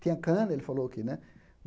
Tinha cana, ele falou que, né?